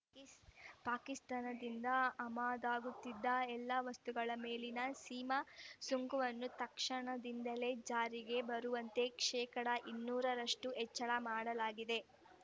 ಪಾಕಿಸ್ತಾನದಿಂದ ಆಮದಾಗುತ್ತಿದ್ದ ಎಲ್ಲ ವಸ್ತುಗಳ ಮೇಲಿನ ಸೀಮಾ ಸುಂಕವನ್ನು ತಕ್ಷಣದಿಂದಲೇ ಜಾರಿಗೆ ಬರುವಂತೆ ಶೇಕಡಾ ಇನ್ನೂರ ರಷ್ಟುಹೆಚ್ಚಳ ಮಾಡಲಾಗಿದೆ